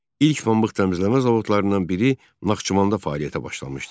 İlk pambıq təmizləmə zavodlarından biri Naxçıvanda fəaliyyətə başlamışdı.